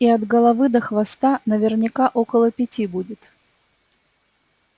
и от головы до хвоста наверняка около пяти будет